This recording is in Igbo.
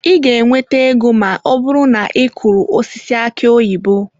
Ị ga-enweta ego ma ọ bụrụ na ị kụrụ osisi aki oyibo.